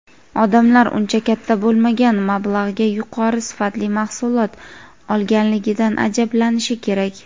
Odamlar uncha katta bo‘lmagan mablag‘ga yuqori sifatli mahsulot olganligidan ajablanishi kerak.